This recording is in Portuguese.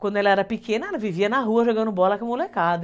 Quando ela era pequena, ela vivia na rua jogando bola com a molecada.